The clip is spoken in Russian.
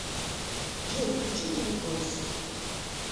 джой включи булетбойс